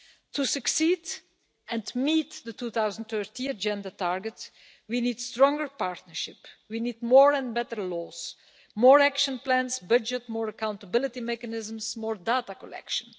To succeed and meet the 2030 Agenda target, we need a stronger partnership, we need more and better laws, more action plans, budget and accountability mechanisms and more data collection.